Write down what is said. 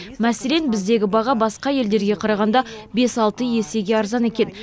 мәселен біздегі баға басқа елдерге қарағанда бес алты есеге арзан екен